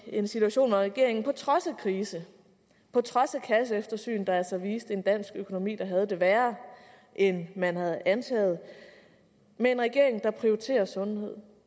i en situation hvor regeringen på trods af krise på trods af kasseeftersyn der altså viste en dansk økonomi der havde det værre end man havde antaget prioriterer sundhed